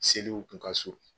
Seliw tun ka surun